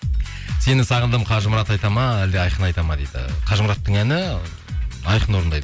сені сағындым қажымұрат айтады ма әлде айқын айтады ма дейді қажымұраттың әні айқын орындайды